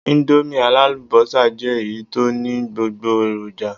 Íńdómì alálùbọ́sà jẹ́ èyí tó ní gbogbo èròjà.